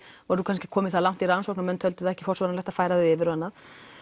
voru kannski komin það langt í rannsókn að menn töldu það ekki forsvaranlegt að færa þau yfir og annað